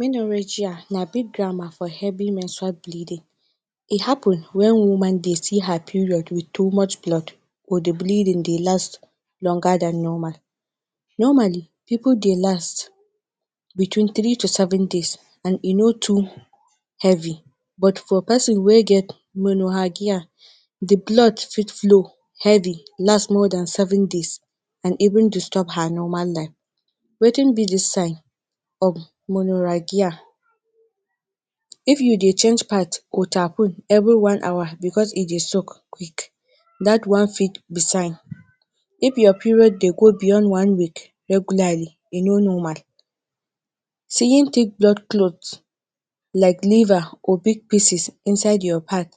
Menorrhagia na big grammar for heavy menstrual bleeding, e happun wen woman dey see her period wit too much blood or di bleeding dey last longer than Normal. Normally pipo dey last between three to seven days and e no too heavy, but for pesin wey get Menorrhagia dey blood fit flow heavily, last more than seven days, and even disturb her normal life. Wetin be di sign of Menorrhagia? If you dey change pads or tapon evri one hour bicos e dey soak quick, dat one fit be sign, if your period dey go beyond one week regularly e no normal. Seeing thick blood clots like liver or big pieces inside your pads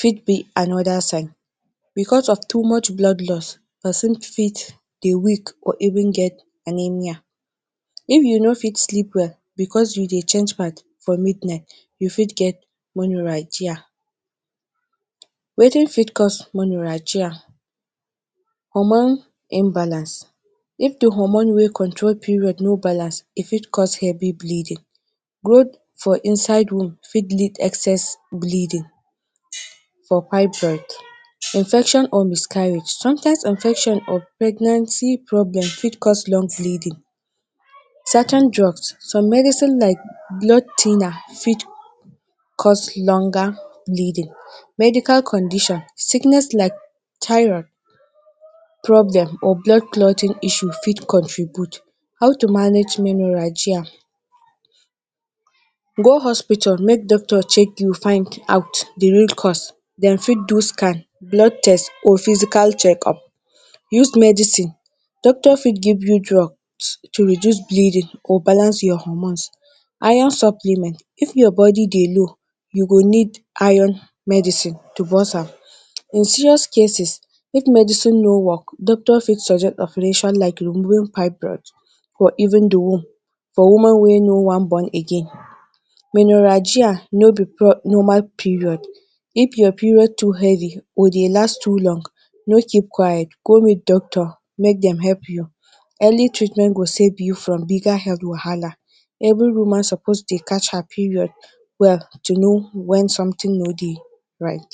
fit be anoda sign bicos of too much blood loss, pesin fit dey weak or even get anemia. If you no fit sleep well bicos you dey change pads for midnight, you fit get Menorrhagia. Wetin fit cause menorrhagia? Hormon imbalance. If di hormone wey control period no balance, e fit cause heavy bleeding, growth for inside womb fit lead excess bleeding for fibroid. Infection or miscarriage. Sometimes Infection or pregnancy problems fit cause long bleeding. Certain drugs. Some medicines like blood thinner fit cause longer bleeding. Medical conditions. Sickness like thyroid problem or blood clotting issue fit contribute. How to manage Menorrhagia? Go hospital make Dr check you find out di real cause. Dem fit do scan, blood test or physical check up. Use medicine—Doctors fit give you drugs to reduce bleeding or balance your hormones. Iron supplements if your body dey low, you go need Iron medicine to boost am. In serious cases if medicine no work Doctor fit suggest operation like removing fibroid or even di womb for woman wey no wan born again. Menorrhagia no bi normal period if your period too heavy or dey last too long, no keep quiet, go meet Doctor make dem help you. Early treatment go save you from bigger health wahala. Evri woman suppose dey catch her period well to know wen somtin no dey right.